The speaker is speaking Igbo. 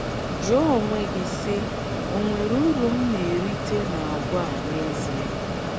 Jụọ onwe gị, sị, ‘ Ọ̀ nwere uru m na - erite n’àgwà a n’ezie?